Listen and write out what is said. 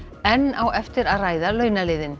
enn á eftir að ræða launaliðinn